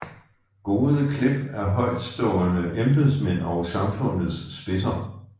Gode klip af højtstående embedsmænd og samfundets spidser